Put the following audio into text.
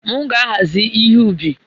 M ga-ahazi ihe ubi